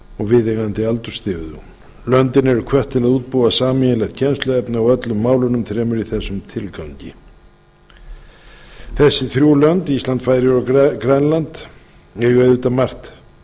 viðeigandi aldursstigum löndin eru hvött til að útbúa sameiginlegt kennsluefni á öllum málunum þremur í þessum tilgangi þessi þrjú lönd ísland færeyjar og grænland eiga auðvitað margt